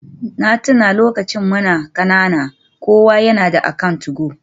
Na tuna lokacin muna kanana kowa yana da account 2go.